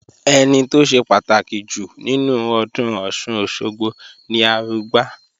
Ẹni tó ṣe pàtàkì jù nínú ọdún Ọ̀ṣun-Òṣogbo ni Arugbá